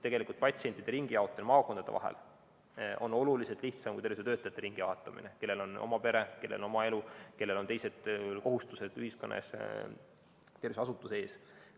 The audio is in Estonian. Tegelikult on patsientide ringijaotamine maakondade vahel oluliselt lihtsam kui jaotada ümber tervishoiutöötajaid, kellel on oma pere, kellel on oma elu, kellel on teised kohustused ühiskonna ja tervishoiuasutuse ees.